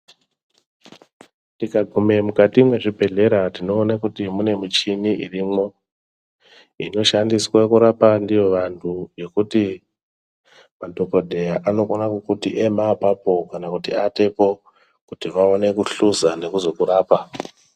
Tikagume mukati mwezvibhehlera tinoone kuti mune muchini irimwo inoshandiswe kurapa ndiyo vanhu yekuti madhogodheya anokona kukuti ema apapo kana kuti atepo, kuti vaone kuhluza nekuzokurapa.